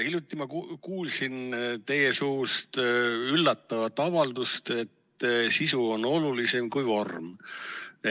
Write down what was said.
Hiljuti ma kuulsin teie suust üllatavat avaldust, et sisu on olulisem kui vorm.